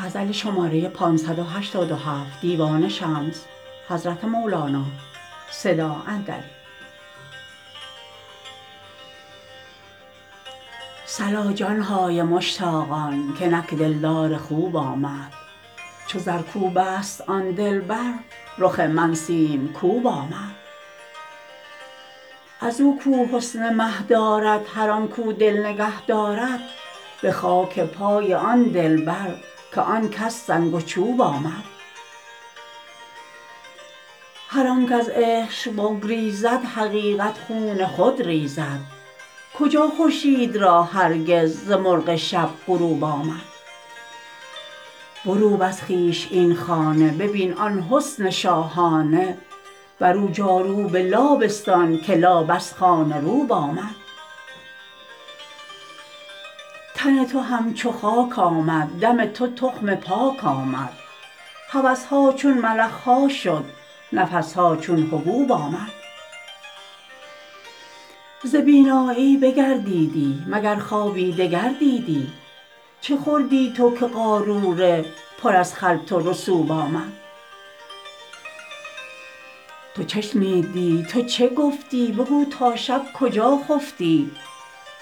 صلا جان های مشتاقان که نک دلدار خوب آمد چو زرکوبست آن دلبر رخ من سیم کوب آمد از او کو حسن مه دارد هر آن کو دل نگه دارد به خاک پای آن دلبر که آن کس سنگ و چوب آمد هر آنک از عشق بگریزد حقیقت خون خود ریزد کجا خورشید را هرگز ز مرغ شب غروب آمد بروب از خویش این خانه ببین آن حس شاهانه برو جاروب لا بستان که لا بس خانه روب آمد تن تو همچو خاک آمد دم تو تخم پاک آمد هوس ها چون ملخ ها شد نفس ها چون حبوب آمد ز بینایی بگردیدی مگر خواب دگر دیدی چه خوردی تو که قاروره پر از خلط رسوب آمد تو چه شنیدی تو چه گفتی بگو تا شب کجا خفتی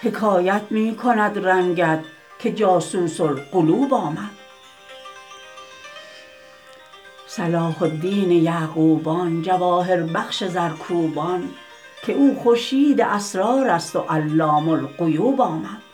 حکایت می کند رنگت که جاسوس القلوب آمد صلاح الدین یعقوبان جواهربخش زرکوبان که او خورشید اسرارست و علام الغیوب آمد